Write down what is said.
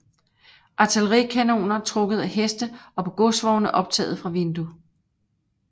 Artillerikanoner trukket af heste og på godsvogne optaget fra vindue